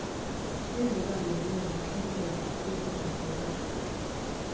ezibangelwe yintlekele yokudodobala